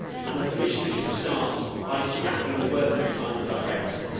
The Commission should start by scrapping the Working Time Directive.